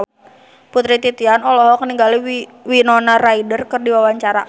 Putri Titian olohok ningali Winona Ryder keur diwawancara